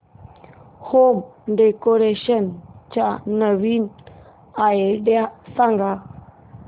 home decoration च्या नवीन idea सांग